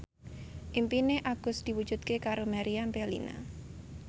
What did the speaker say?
impine Agus diwujudke karo Meriam Bellina